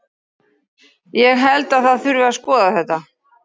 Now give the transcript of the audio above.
Ég held að það þurfi að skoða þetta.